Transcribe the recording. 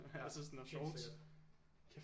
Altså sådan og shorts